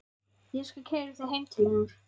Ég skal keyra þig heim til hennar.